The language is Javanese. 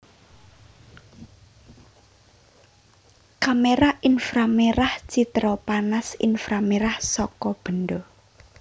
Kamera inframerah citra panas inframerah saka benda